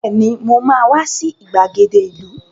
Bẹ́ẹ̀ni, mo ma wá sí ìgbàgede ìlú